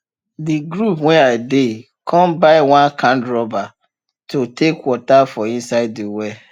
de group wen i dey come buy one kind rubber to take water for inside de well